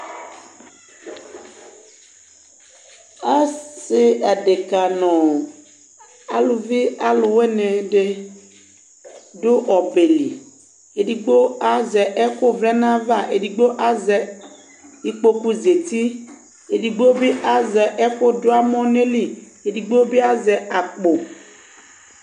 Asi adekǝ nʋ aluvi aluwini dɩ adu ɔbɛ li Edigbo azɛ ɛkʋvlɛ nʋ ayava, edigbo azɛ ikpokuzǝti, edigbo bɩ azɛ ɛkʋduamɔ nʋ ayili, edigbo bɩ azɛ akpo